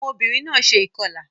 Awọn obinrin náà ṣe ikọla